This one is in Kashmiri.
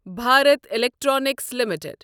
Bharat electronics limited